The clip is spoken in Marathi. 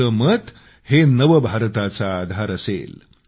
आपले मत हे नव भारताचा आधार असणार आहे